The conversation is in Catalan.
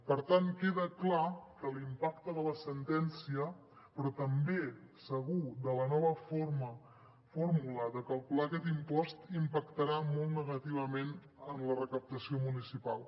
per tant queda clar l’impacte de la sentència però també segur de la nova fórmula de calcular aquest impost impactarà molt negativament en la recaptació municipal